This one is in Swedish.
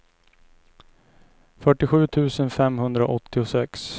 fyrtiosju tusen femhundraåttiosex